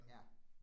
Ja